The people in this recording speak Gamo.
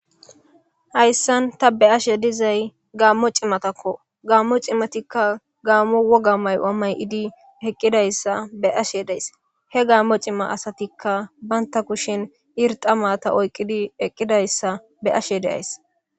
hayssan ta be ashe dizay gaammo cimatakko gaammo cimatikka gaammo woga mayamay idi eqqidayssa be ashe days he gaammo cima asatikka baynta kushin irxamata oyqidi eqqidayssa be ashe deays